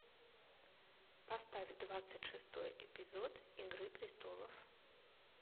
поставь двадцать шестой эпизод игры престолов